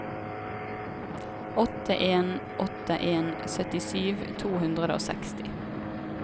åtte en åtte en syttisju to hundre og seksti